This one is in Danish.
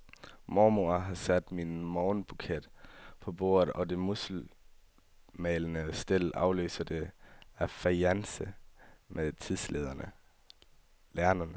Mormor har sat min morgenbuket på bordet og det musselmalede stel afløser det af fajance med tidslerne.